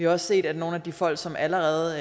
også set at nogle af de folk som allerede